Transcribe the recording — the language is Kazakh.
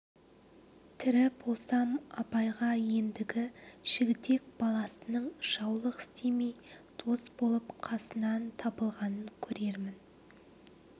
тірі болсам абайға ендігі жігітек баласының жаулық істемей дос болып қасынан табылғанын көрермін